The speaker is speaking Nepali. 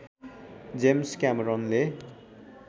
जेम्स क्यामेरनले